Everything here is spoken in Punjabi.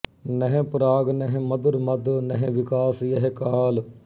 ਨਹਿੰ ਪਰਾਗ ਨਹਿੰ ਮਧੁਰ ਮਧੁ ਨਹਿੰ ਵਿਕਾਸ ਯਹਿ ਕਾਲ